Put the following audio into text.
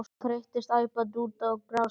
Hún þeyttist æpandi út á grasflöt.